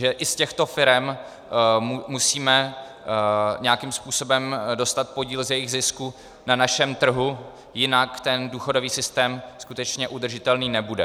Že i z těchto firem musíme nějakým způsobem dostat podíl z jejich zisku na našem trhu, jinak ten důchodový systém skutečně udržitelný nebude.